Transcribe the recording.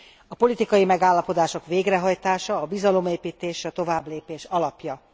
A politikai megállapodások végrehajtása, a bizalomépítés a továbblépés alapja.